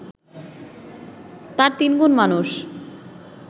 তার তিনগুণ মানুষ